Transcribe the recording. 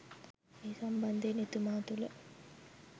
මේ සම්බන්ධයෙන් එතුමා තුළ